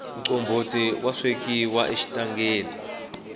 mtlomboti wa swekiwa exitangeni